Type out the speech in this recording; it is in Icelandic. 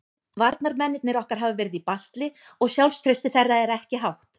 Varnarmennirnir okkar hafa verið í basli og sjálfstraustið þeirra er ekki hátt.